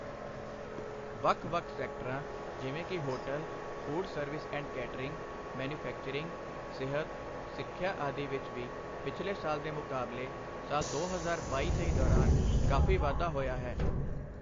ਵੱਖ ਵੱਖ ਸੈਕਟਰਾਂ, ਜਿਵੇਂ ਕਿ hotel, food service and catering, manufacturing, ਸਿਹਤ, ਸਿੱਖਿਆ ਆਦਿ ਵਿੱਚ ਵੀ ਪਿਛਲੇ ਸਾਲ ਦੇ ਮੁਕਾਬਲੇ ਸਾਲ ਦੋ ਹਜ਼ਾਰ ਬਾਈ ਤੇਈ ਦੌਰਾਨ ਕਾਫ਼ੀ ਵਾਧਾ ਹੋਇਆ ਹੈ।